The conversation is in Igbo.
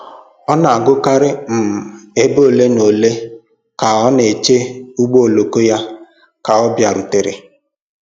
Ọ na-agụkarị um ibe ole na ole ka ọ na-eche ụgbọ oloko ya ka ọ bịarute